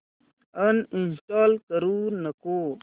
uninstall करू नको